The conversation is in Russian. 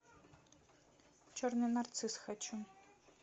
черный нарцисс хочу